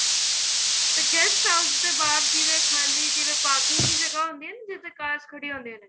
ਤੇ guest house ਦੇ ਬਾਹਰ ਜਿਵੇਂ ਖਾਲੀ ਜਿਵੇਂ parking ਚ ਜਗ੍ਹਾ ਹੁੰਦੀ ਏ ਨਾ ਜਿੱਥੇ cars ਖੜੀਆਂ ਹੁੰਦੀਆਂ ਨੇ